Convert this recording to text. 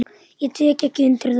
Ég tek ekki undir það.